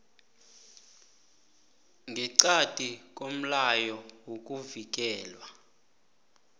ngeqadi komlayo wokuvikelwa